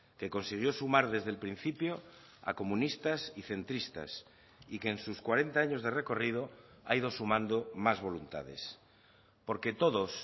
que consiguió sumar desde el principio a comunistas y centristas y que en sus cuarenta años de recorrido ha ido sumando más voluntades porque todos